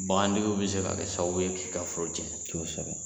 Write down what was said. Bagantigiw bi se ka kɛ sababu ye k'i ka foro cɛn. kosɛbɛ